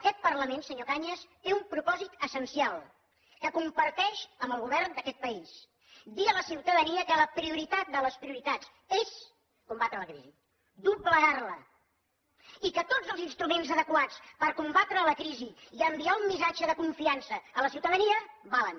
aquest parlament senyor cañas té un propòsit essencial que comparteix amb el govern d’aquest país dir a la ciutadania que la prioritat de les prioritats és combatre la crisi doblegar la i que tots els instruments adequats per combatre la crisi i enviar un missatge de confiança a la ciutadania valen